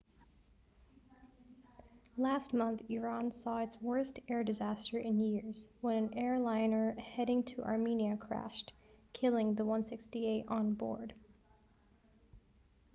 last month iran saw its worst air disaster in years when an airliner heading to armenia crashed killing the 168 on board